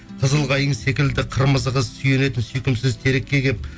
қызыл қайың секілді қырмызы қыз сүйенетін сүйкімсіз терекке кеп